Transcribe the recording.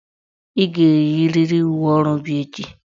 Ị ga-eyiriri uwe ọrụ bịa echi"!